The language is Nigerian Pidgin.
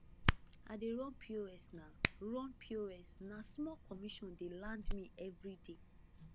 i dey run pos na run pos na small commission dey land me everyday